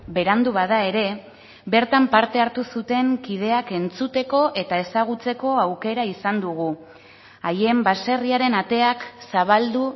berandu bada ere bertan parte hartu zuten kideak entzuteko eta ezagutzeko aukera izan dugu haien baserriaren ateak zabaldu